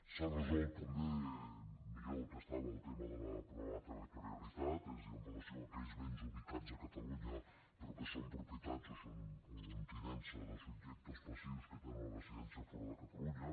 s’ha resolt també millor del que estava el tema del problema de la territorialitat és a dir amb relació a aquells béns ubicats a catalunya però que són propietat o són amb tinença de subjectes passius que tenen la residència fora de catalunya